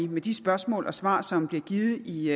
med de spørgsmål og svar som bliver givet i